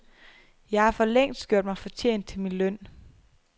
Jeg har forlængst gjort mig fortjent til min løn.